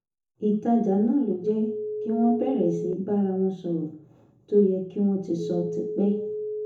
ìtajà náà ló jẹ́ kí wọ́n bẹ̀rẹ̀ sí í bára wọn sọ̀rọ̀ tó yẹ kí wọ́n ti sọ ti pẹ́